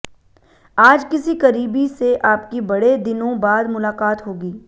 आज किसी करीबी से आपकी बड़े दिनों बाद मुलाकात होगी